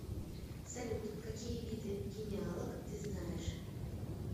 салют какие виды генеалог ты знаешь